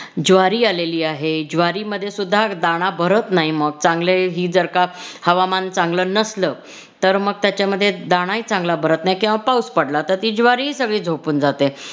ज्वारी आलेली आहे ज्वारी मध्ये सुद्धा दाना भरत नाही मग चांगले बी जर का हवामान चांगलं नसल तर मगं त्याच्यामध्ये दानाही चांगला भरत नाही किंवा पाऊस पडला तर ती ज्वारी सगळी झोपून जाते.